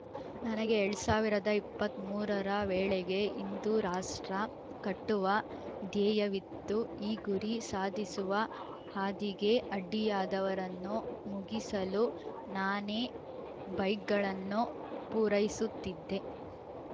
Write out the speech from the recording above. ನನಗೆ ಎಲ್ಡ್ ಸಾವಿರದ ಇಪ್ಪತ್ತ್ ಮೂರ ರ ವೇಳೆಗೆ ಹಿಂದೂ ರಾಷ್ಟ್ರ ಕಟ್ಟುವ ಧ್ಯೇಯವಿತ್ತು ಈ ಗುರಿ ಸಾಧಿಸುವ ಹಾದಿಗೆ ಅಡ್ಡಿಯಾದವರನ್ನು ಮುಗಿಸಲು ನಾನೇ ಬೈಕ್‌ಗಳನ್ನು ಪೂರೈಸುತ್ತಿದ್ದೆ